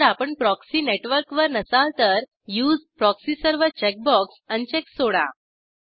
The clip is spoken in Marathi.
जर आपण प्रॉक्सी नेटवर्कवर नसाल तर use proxy server checkbox uncheck सोडा